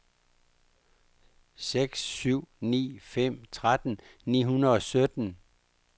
seks syv ni fem tretten ni hundrede og sytten